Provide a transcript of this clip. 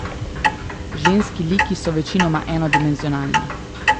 Ženski liki so večinoma enodimenzionalni.